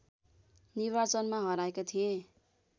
निर्वाचनमा हराएका थिए